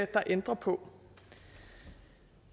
der ændrer på